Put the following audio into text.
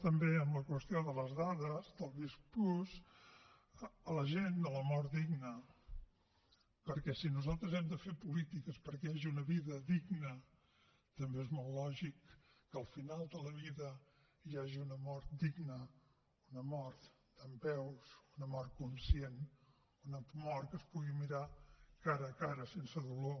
també amb la qüestió de les dades del visc+ la gent sobre la mort digna perquè si nosaltres hem de fer polítiques perquè hi hagi una vida digna també és molt lògic que al final de la vida hi hagi una mort digna una mort dempeus una mort conscient una mort que es pugui mirar cara a cara sense dolor